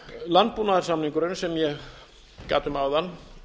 landbúnaðarsamningurinn sem ég gat um áðan